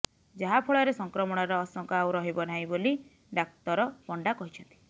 ଯାହାଫଳରେ ସଂକ୍ରମଣର ଆଶଙ୍କା ଆଉ ରହିବ ନାହିଁ ବୋଲି ଡାକ୍ତର ପଣ୍ଡା କହିଛନ୍ତି